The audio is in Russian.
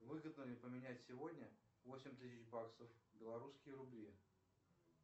выгодно ли поменять сегодня восемь тысяч баксов белорусские рубли